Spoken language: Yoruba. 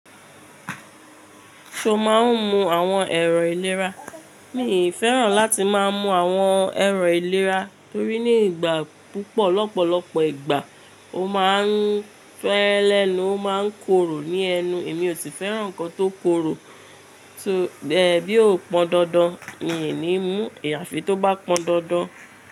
Ṣo máa ń mu àwọn ẹ̀rọ ìlera? Mi kò fẹ́ràn láti máa mú àwọn ẹ̀rọ ìlera torí ní ìgbà púpọ̀ lọ́pọ̀lọpọ̀ ìgbà ó má a ń fẹ́lẹ́, ló má ń korò ní ẹnu, èmi ò sì fẹ́ràn nǹkan tó korò. Bí ó pọn dandan, mi ò ní mú ìyàfi tó bá pọn dandan.